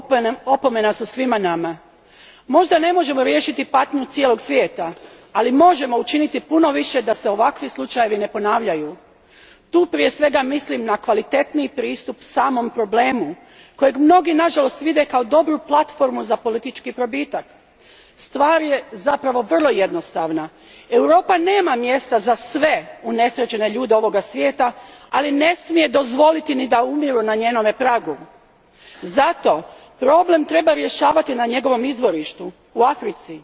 Gospodine predsjedniče, potonuća brodova i smrt tisuća ljudi u Sredozemnom moru opomena su svima nama. Možda ne možemo riješiti patnju cijelog svijeta, ali možemo učiniti puno više da se ovakvi slučajevi ne ponavljaju. Tu prije svega mislim na kvalitetniji pristup samom problemu kojeg mnogi nažalost vide kao dobru platformu za politički probitak. Stvar je zapravo vrlo jednostavna Europa nema mjesta za sve unesrećene ljude ovog svijeta, ali ne smije dozvoliti ni da umiru na njenom pragu. Zato problem treba rješavati na njegovom izvorištu u Africi.